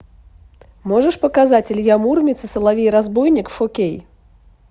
можешь показать илья муромец и соловей разбойник фо кей